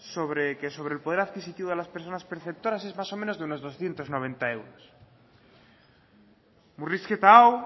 que sobre el poder adquisitivo de las personas perceptoras es más o menos de unos doscientos noventa euros murrizketa hau